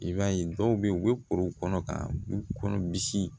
I b'a ye dɔw bɛ ye u bɛ koro kɔnɔ ka u kɔnɔ misi